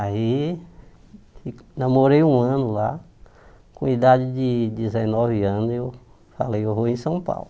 Aí namorei um ano lá, com idade de dezenove anos eu falei, eu vou em São Paulo.